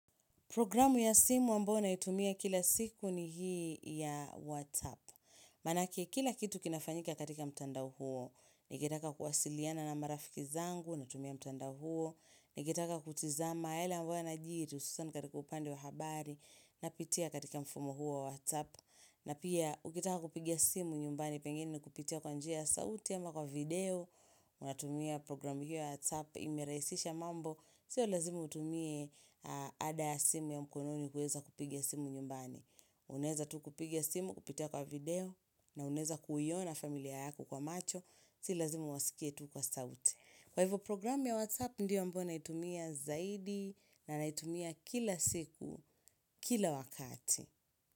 Programu ya simu ambayo naitumia kila siku ni hii ya WhatsApp. Manake, kila kitu kinafanyika katika mtandao huo. Nikitaka kuwasiliana na marafiki zangu, natumia mtandao huo. Nikitaka kutizama yale ambayo yanajiri, hususan katika upande wa habari, napitia katika mfumo huo wa WhatsApp. Na pia, ukitaka kupiga simu nyumbani pengine ni kupitia kwa njia ya sauti ama kwa video, natumia program hiyo ya WhatsApp imerahisisha mambo Sio lazima utumie ada ya simu ya mkononi kueza kupiga simu nyumbani Uneza tu kupiga simu, kupitia kwa video na unaeza kuiona familia yako kwa macho Sio lazima wasikie tu kwa sauti Kwa hivyo programu ya WhatsApp ndiyo ambayo naitumia zaidi na naitumia kila siku, kila wakati.